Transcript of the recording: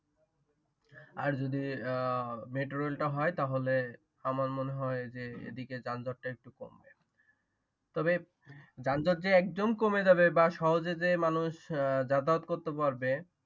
আর যদি মেট্রোরেল টা হয় তাহলে আমার মবে হয় এইদিকে যানজট টা একটু কমবে তবে যনজট যে একদম কমে যাবে বা সহজে যে মানুষ যাতায়াত করতে পারবে